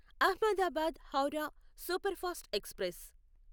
Ahmedabad Howrah superfast express